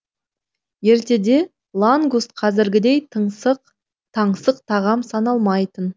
ертеде лангуст қазіргідей таңсық тағам саналмайтын